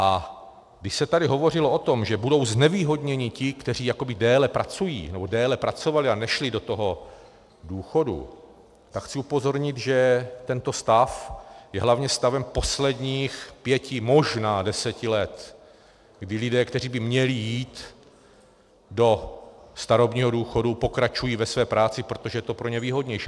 A když se tady hovořilo o tom, že budou znevýhodněni ti, kteří déle pracují, nebo déle pracovali a nešli do toho důchodu, tak chci upozornit, že tento stav je hlavně stavem posledních pěti, možná deseti let, kdy lidé, kteří by měli jít do starobního důchodu, pokračují ve své práci, protože je to pro ně výhodnější.